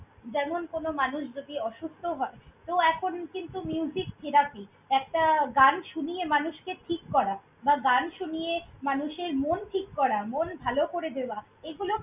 যেমন কোনো মানুষ যদি অসুস্থ হয়, তো এখন কিন্তু therapy । একটা গান শুনিয়ে মানুষকে ঠিক করা বা গান শুনিয়ে মানুষের মন ঠিক করা, মন ভালো করে দেওয়া, এগুলো।